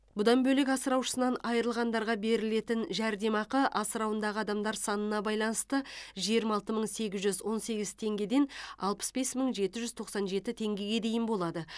бұдан бөлек асыраушысынан айрылғандарға берілетін жәрдемақы асырауындағы адамдар санына байланысты жиырма алты мың сегіз жүз он сегіз теңгеден алпыс бес мың жеті жүз тоқсан жеті теңгеге дейін болады